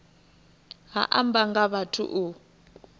ha amba nga vhathu u